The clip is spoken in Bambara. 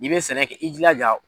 N'i bɛ sɛnɛkɛ i jilaja.